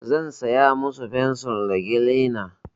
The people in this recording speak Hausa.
Zan saya musu fensir da kilina.